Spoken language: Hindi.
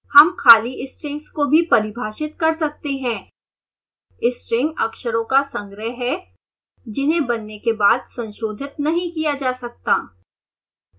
हम खाली strings को भी परिभाषित कर सकते हैं string अक्षरों का संग्रह है जिन्हें बनने के बाद संशोधित नहीं किया जा सकता है